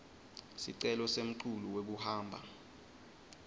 sicelo semculu wekuhamba